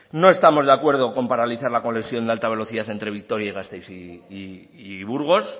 no estamos de acuerdo con paralizar la conexión de alta velocidad entre vitoria gasteiz y burgos